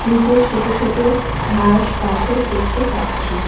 নীচে ছোট ছোট ঘাস পাথর দেখতে পারছি।